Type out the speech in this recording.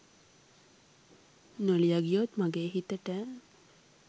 නොලිය ගියොත් මගේ හිතට